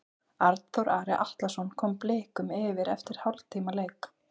Arnþór Ari Atlason kom Blikum yfir eftir hálftíma leik.